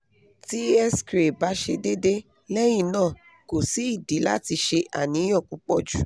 ti xray ba se dede lehina ko si idi lati se aniyan pupo ju